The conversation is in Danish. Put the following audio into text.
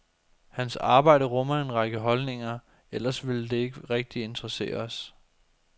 Hans arbejde rummer en række holdninger, ellers ville det ikke rigtig interessere os.